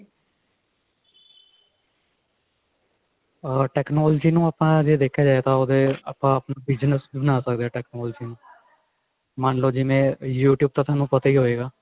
technology ਨੂੰ ਆਪਾਂ ਜੇ ਦੇਖਿਆ ਜਾਵੇ ਤਾਂ ਅਮ ਆਪਾਂ ਆਪਣਾ business ਵੀ ਬਣਾ ਸਕਦੇ ਹਾਂ technology ਨੂੰ ਮੰਨਲੋ ਜਿਵੇਂ youtube ਤਾਂ ਥੋਨੂੰ ਪਤਾ ਹੀ ਹੋਏਗਾ